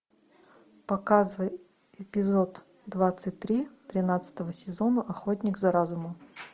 показывай эпизод двадцать три тринадцатого сезона охотник за разумом